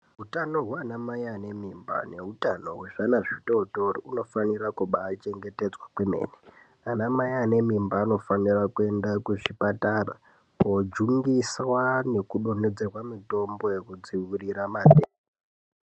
Utano hwaanamai ane mimba neutano hwezvana zvitootori, unofanire kubaachengetedzwa kwemene. Anamai ane mimba anofanire kuende kuzvipatara, koojungiswa nekudonhedzerwe mitombo yekudziwirire matenda